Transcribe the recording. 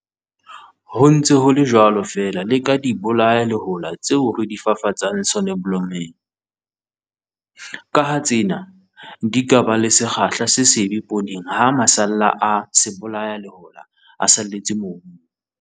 Ho ntse ho le jwalo feela le ka dibolayalehola tseo re di fafatsang soneblomong, ka ha tsena di ka ba le sekgahla se sebe pooneng ha masalla a sebolayalehola a salletse mobung.